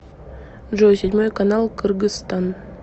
джой седьмой канал кыргызстан